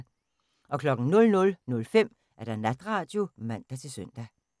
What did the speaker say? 00:05: Natradio (man-søn)